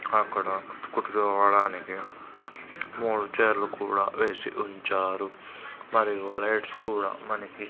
అక్కడ అవడానికి మూడు చైర్లు కూడా వేసి ఉంచారు మరియు లైట్స్ కూడా మనకి--